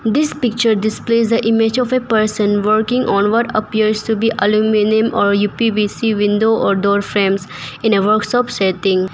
This picture displays a image of a person working onward appears to be aluminium or U_P_V_C window or door frames in a workshop setting.